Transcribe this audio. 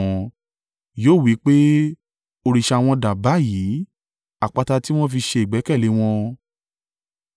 Yóò wí pé, “Òrìṣà wọn dà báyìí, àpáta tí wọ́n fi ṣe ìgbẹ́kẹ̀lé e wọn,